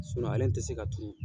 ale ti se ka turu.